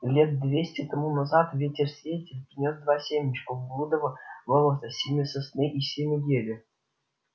лет двести тому назад ветер-сеятель принёс два семечка в блудово болото семя сосны и семя ели